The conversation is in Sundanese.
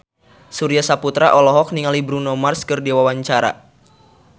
Surya Saputra olohok ningali Bruno Mars keur diwawancara